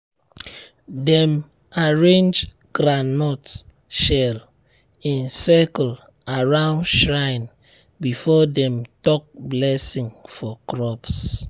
dem arrange groundnut shell in circle around shrine before dem talk blessing for crops.